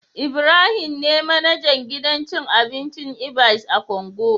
Ibrahim ne manajan gidan cin abinci "ibys " a Kongo